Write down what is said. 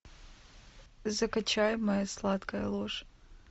закачай моя сладкая ложь